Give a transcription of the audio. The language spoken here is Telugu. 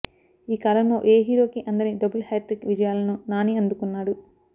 ఈ కాలంలో ఏ హీరోకి అందని డబుల్ హ్యాట్రిక్ విజయాలను నాని అందుకున్నాడు